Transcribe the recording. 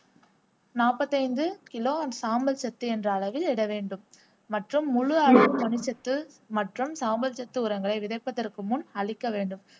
நாற்பத்தைந்து கிலோ சாம்பல் சத்து என்ற அளவில் இடவேண்டும் மற்றும் முழு அளவு மணி சத்து மற்றும் சாம்பல் சத்து உரங்களை விதைப்பதற்கு முன் அழிக்க வேண்டும்